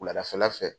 Wuladafɛla fɛ